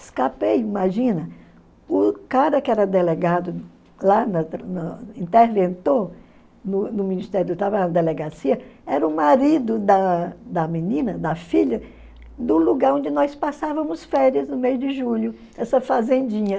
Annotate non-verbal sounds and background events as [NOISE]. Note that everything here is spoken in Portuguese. Escapei, imagina, o cara que era delegado lá, [UNINTELLIGIBLE] interventor no no Ministério do Trabalho, na delegacia, era o marido da da menina, da filha, do lugar onde nós passávamos férias no meio de julho, essa fazendinha.